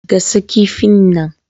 Gasa kifin nan!